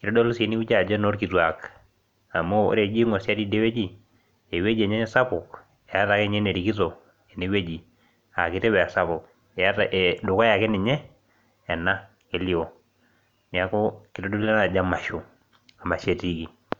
kitodolu ajo enoo ilkitiak. eeta ake enerikito tene wueji. eeta dukuya ake ninye ena elioo. neeku kitodolu ena ajo emasho emasho etiiki.